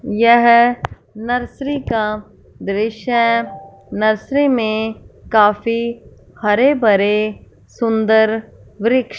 यह नर्सरी का दृश्य नर्सरी में काफी हरे-भरे सुंदर वृक्ष--